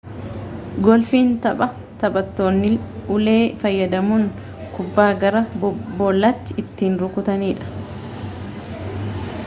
goolfiin tapha taphattoonni ulee fayyadamuudhaan kubbaa gara boollaatti ittiin rukutanidha